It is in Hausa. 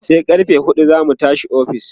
sai karfe huɗu zamu tashi a ofis